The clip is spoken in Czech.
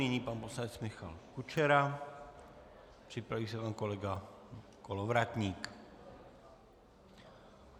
Nyní pan poslanec Michal Kučera, připraví se pan kolega Kolovratník.